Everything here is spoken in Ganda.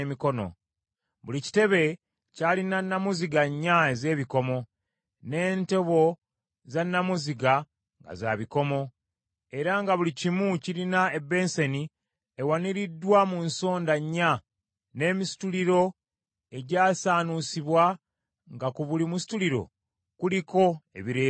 Buli kitebe ky’alina nnamuziga nnya ez’ebikomo, n’entobo za nnamuziga nga za bikomo, era nga buli kimu kirina ebensani ewaniriddwa mu nsonda nnya n’emisituliro egyasaanuusibwa, nga ku buli musituliro kuliko ebireebeeta.